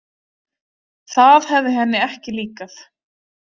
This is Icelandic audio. Það hefði henni ekki líkað.